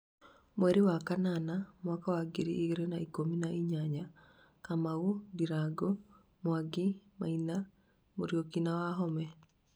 mweri wa kanana mwaka wa ngiri igĩrĩ na ikũmi na inyanya Kamau, ndirangũ, Mwangi, maina, Muriuki na wahome